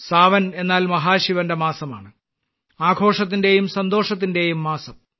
സാവൻ എന്നാൽ മഹാശിവന്റെ മാസമാണ് ആഘോഷത്തിന്റെയും സന്തോഷത്തിന്റെയും മാസം